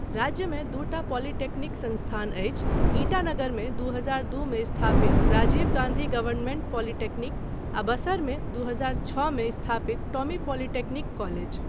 राज्यमे दूटा पॉलिटेक्निक संस्थान अछि, ईटानगरमे दू हजार दू मे स्थापित राजीव गान्धी गवर्नमेंट पॉलिटेक्निक आ बसरमे दू हजार छओ मे स्थापित टोमी पॉलिटेक्निक कॉलेज।